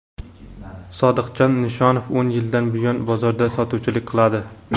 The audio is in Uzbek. Sodiqjon Nishonov o‘n yildan buyon bozorda sotuvchilik qiladi.